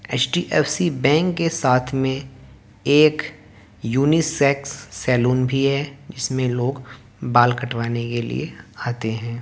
HDFC bank के साथ में एक यूनीसेक्स सैलून भी है जिसमें लोग बाल कटवाने के लिए आते हैं।